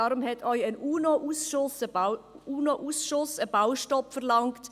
Deshalb hat auch ein UNO-Ausschuss einen Baustopp verlangt.